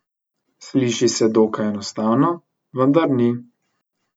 Sliši se dokaj enostavno, vendar ni.